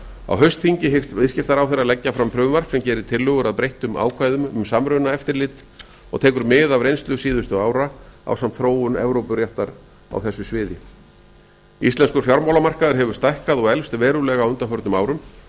á haustþingi hyggst viðskiptaráðherra leggja fram frumvarp sem gerir tillögur að breyttum ákvæðum um samrunaeftirlit og tekin mið af reynslu síðustu ara ásamt þróun evrópuréttar á þessu sviði íslenskur fjármálamarkaður áður stækkað og eflst verulega á undanförnum árum